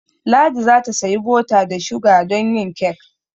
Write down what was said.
Ladi za ta sayi bota da shuga domin yin kek.